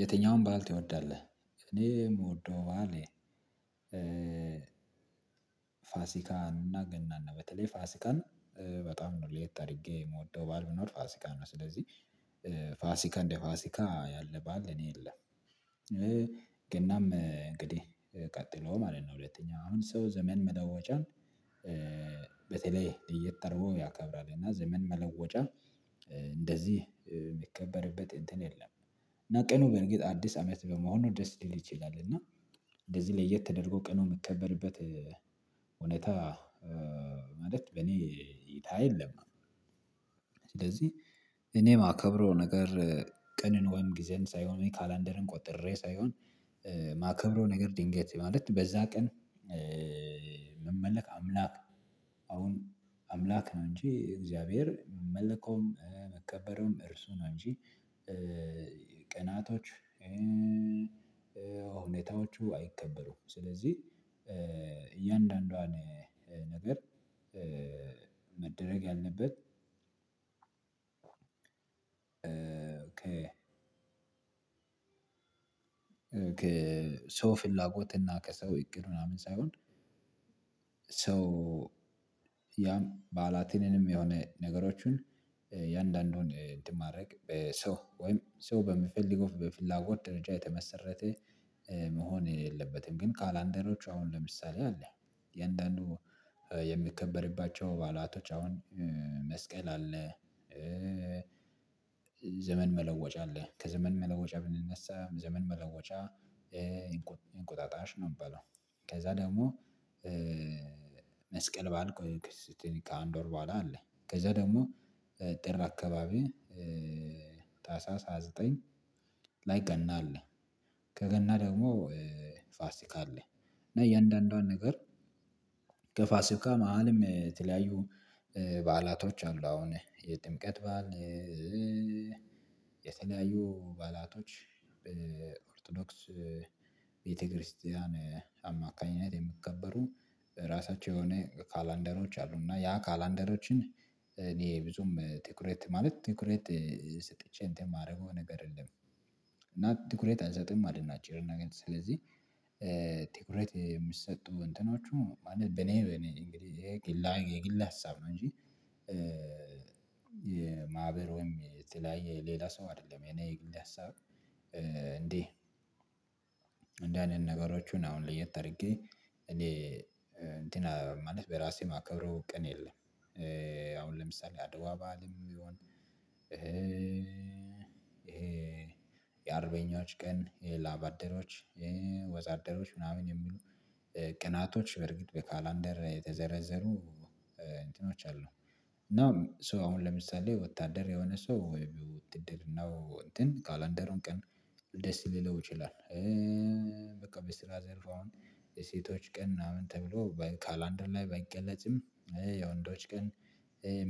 የትኛውን በዓል ትወዳልህ? እኔ የምወደው ባህሌ ፋሲካን እና ገናን በተለይ ፋሲካን በጣም ነው ለየት አርጌ የምወደው በዓል ቢኖር ፋሲካ ነው ስለዚህ። ፋሲካ እንደ ፋሲካ ያለ በዓል እኔ የለም። ገናም እንግዲህ ቀጥሎ ማለት ነው ሁለተኛ አሁን ሰው ዘመን መለወጫን። በተለይ እየጠራው ያከብራል እና ዘመን መለወጫ እንደዚህ የሚከበርበት እንትን የለም። እና ቀኑ በርግጥ አዲስ አመት በመሆኑ ደስ ሊል ይችላል። እና እንደዚህ ለየት ተደርጎ ቀኑ የምከበርበት ሁኔታ ማለት በእኔ እይታ የለም። ስለዚህ እኔ ማከብረው ነገር ቅንን ወይም ጊዜን ሳይሆን እኔ ካላንደርን ቆጥሬ ሳይሆን የማከብረው ነገር ድንገት ማለት በዛ ቀን ሚመለከ አምላክ አሁን አምላክ ነው እንጂ እግዚአብሔር ሚመለከውም መከበሩም እርሱ ነው እንጂ። ቀናቶች ሁኔታዎቹ አይከበሩም። ስለዚህ እያንዳንዷን ነገር መደረግ ያለበት። ኦኬ ሰው ፍላጎት እና ከሰው ይቅር ምናምን ሳይሆን። ሰው ያም በአላቴንም የሆነ ነገሮችን የአንዳንዱን እንትን ማድረግ በሰው ወይም ሰው በምፈልግ ኦፍ በፍላጎት ደረጃ የተመሰረተ መሆን የለበትም። ግን ካላንደሮች አሁን ለምሳሌ አለ የእንደአኑ የሚከበርባቸው ባሏቶች አሁን መስቀል አለ። ዘመን መለወጫ አለ ከዘመን መለወጫ ብንነሳ ዘመን መለወጫ እንቁጣጣሽ ነው የሚባለው። ከዛ ደግሞ መስቀል ባልኩ ከአንድ ወር በኋላ አለ። ከዛ ደግሞ ጥር አካባቢ ታህሳስ ሃያ ዘጠኝ ላይ ገና አለ። ከገና ደግሞ ፋሲካ አለ። እና እያንዳንዷን ነገር ከፋሲካ መሃልም የተለያዩ በዓላቶች አሉ አሁን የጥምቀት በዓል የተለያዩ ባላቶች በኦርቶዶክስ ቤተክርስቲያን አማካኝነት የሚከበሩ የራሳቸው የሆነ ካላንደሮች አሉ። እና ያ ካላንደሮችን እኔ ብዙም ትኩረት ማለት ትኩረት ሰጥቼ እንትን የማደርገው ነገር የለም። እና ትኩሬት አንሰጥም አይደል? አጭር እና ግን ስለዚህ ትኩረት የምትሰጡ እንትናችሁ ማለት በኔ በኔ እንግዲህ የግል ሀሳብ ነው እንጂ። የማህበሩም የተለያዬ የሌላ ሰው አይደለም እኔ ግሌ ሀሳብ። እንዴ እንደዚህ አይነት ነገሮችን አሁን ለየት አድርጌ እኔ እንትን ማለት በራሴ ማከብረው ቀን የለም። አሁን ለምሳሌ አድዋ ባልም ይሁን። ይሄ የአርበኞች ቀን የላባደሮች ወዛደሮች ምናምን የሚሉ ቅናቶች በርግጥ በካላንደር የተዘረዘሩ እንትኖች አሉ። እና ሶ አሁን ለምሳሌ ወታደር የሆነ ሰው ውትድርናው እንትን ካላንደሩን ቀን ደስ ሊለው ይችላል። በቃ በስራ ዘርፍ አሁን የሴቶች ቀን ምናምን ተብሎ ካላንደር ላይ ባይገለጽም። የወንዶች ቀን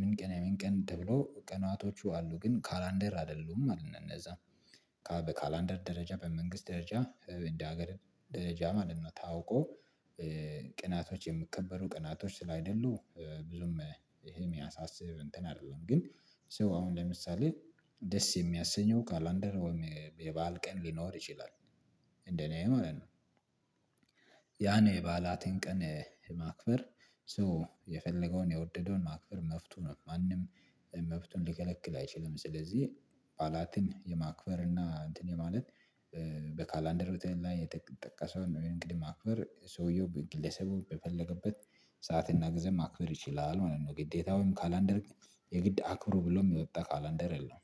ምን ቀን የምን የሚን ቀን ደግሞ ቀናቶቹ አሉ ግን ካላንደር አይደሉም አልነዛም። ካላንደር ደረጃ በመንግስት ደረጃ እንደ ሀገር ደረጃ ማንም ነው ታውቆ ቅናቶች የምከበሩ ቅናቶች ስላይደሉ ብዙም ይሄ የሚያሳስብ እንትን አይደለም ግን። ሰው አሁን ለምሳሌ ደስ የሚያሰኘው ካላንደር ወይም የበአል ቀን ሊኖር ይችላል። እንደኔ ማለት ነው። ያኔ የባላቴን ቀን ማክበርሶ የፈለገውን የወደደውን ማክበር መፍቱ ነው ማንም መፍቱን ሊከለክል አይችልም። ስለዚህ ባላትን የማክበር እና እንትን የማለት ቤት ላይ የጠቀሰውን እንግዲህ ማክበር ሰውየው በግለሰቡ በፈለገበት ሰዓትና ጊዜ ማክበር ይችላል ማለት ነው። ግዴታውም ካላንደር የግድ አክብሩ ብሎም የወጣ ካላንደር የለውም